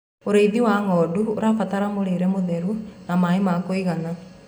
ũrĩithi wa ng'ondu ũrabatara mũrĩre mũtheru na maĩ ma kũigana